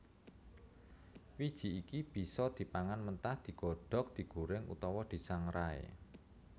Wiji iki bisa dipangan mentah digodhog digorèng utawa disangrai